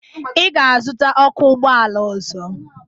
Ị ga-azụta ọkụ ụgbọala ọzọ!